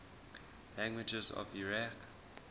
languages of iraq